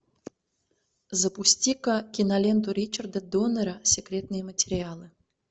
запусти ка киноленту ричарда донера секретные материалы